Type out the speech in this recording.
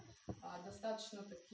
достаточно